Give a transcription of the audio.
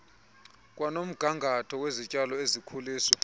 kwanomgangatho wezityalo ezikhuliswa